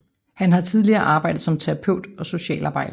Han har tidligere arbejdet som terapeut og socialarbejder